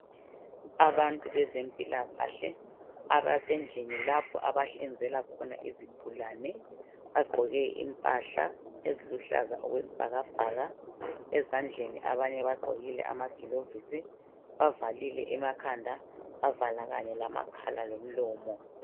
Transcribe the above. Abantu bezempilakahle abasendlini lapho abahlinzela khona izigulane, bagqoke impahla eziluhlaza okwesibhakabhaka ezandleni abanye bagqokile amagilovisi bavalile emakhanda bavala kanye lamakhala lomlomo.